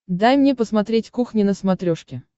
дай мне посмотреть кухня на смотрешке